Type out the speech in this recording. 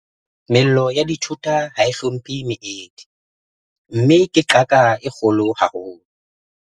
Mello ya dithota ha e hlomphe meedi, mme ke qaka e kgolo haholo.